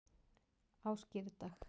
á skírdag